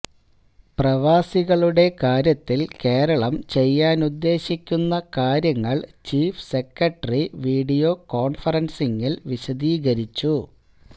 പ്രവാസികളുടെ കാര്യത്തില് കേരളം ചെയ്യാനുദ്ദേശിക്കുന്ന കാര്യങ്ങള് ചീഫ് സെക്രട്ടറി വീഡിയോ കോണ്ഫറന്സിംഗില് വിശദീരിച്ചു